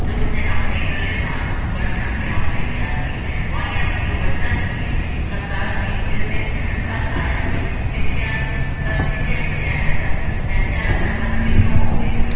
ਅਤੇ ਉਸ ਆਪਣੇ ਇਕੱਲੇ ਭਰਾ ਨੂੰ ਬਣ-ਠਣ ਕੇ ਆਉਣ ਲਈ ਕਿਹਾ ਸੀ ਵਾਹੀਆਂ ਵਿੱਚੋਂ ਬਚਦਾ ਹੀ ਕੀ ਸੀ? ਕਰਤਾਰ ਸਿੰਘ ਜਿਸ ਦਿਨ ਖੱਤ ਆਇਆ ਸੀ ਲਿਖਿਆ ਅਹ ਖਿਝਿਆ ਖਿਝਿਆ ਰਹਿੰਦਾ ਸੀ, ਪੈਸਿਆਂ ਦਾ ਪ੍ਰਬੰਧ ਕਿੱਥੋਂ ਹੋਵੇ?